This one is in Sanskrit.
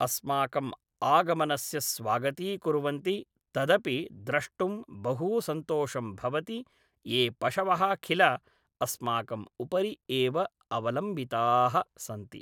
अस्माकम् आगमनस्य स्वागतीकुर्वन्ति तदपि द्रष्टुं बहू सन्तोषं भवति ये पशवः खिल अस्माकम् उपरि एव अवलम्बिताः सन्ति